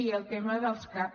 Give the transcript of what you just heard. i el tema dels cap